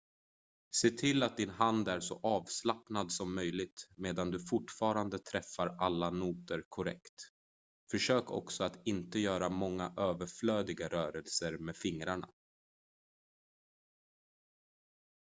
se till att din hand är så avslappnad som möjligt medan du fortfarande träffar alla noter korrekt försök också att inte göra många överflödiga rörelser med fingrarna